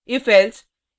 ifelse